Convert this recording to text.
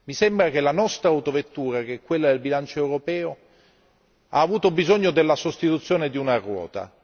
Mi sembra che la nostra autovettura, che è quella del bilancio europeo, ha avuto bisogno della sostituzione di una ruota.